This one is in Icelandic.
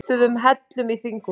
Köstuðu hellum í þinghúsið